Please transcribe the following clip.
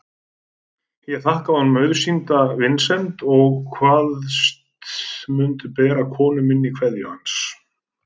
Ég þakkaði honum auðsýnda vinsemd og kvaðst mundu bera konu minni kveðju hans.